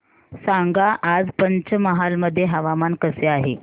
सांगा आज पंचमहाल मध्ये हवामान कसे आहे